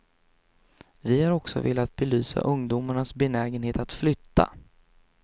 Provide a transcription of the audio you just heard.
Vi har också velat belysa ungdomarnas benägenhet att flytta.